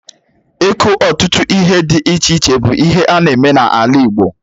Iku ọtụtụ ihe dị iche iche bụ ihe ana-eme n'ala Igbo